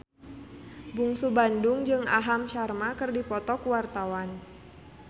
Bungsu Bandung jeung Aham Sharma keur dipoto ku wartawan